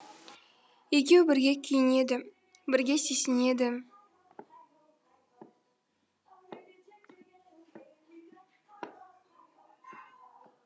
екеуі бірге күйінеді бірге сүйсінеді